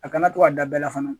A kana to ka da bɛɛ la fana